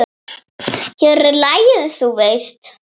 Hér er lagið, þú veist!